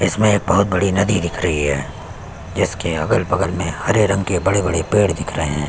इसमें एक बहोत बड़ी नदी दिख रही है जिसके अगल-बगल में हरे रंग के बड़े-बड़े पेड़ दिख रहे है।